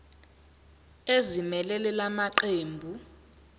ezimelele la maqembu